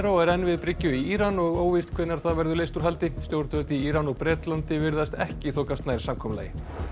er enn við bryggju í Íran og óvíst hvenær það verður leyst úr haldi stjórnvöld í Íran og Bretlandi virðast ekki þokast nær samkomulagi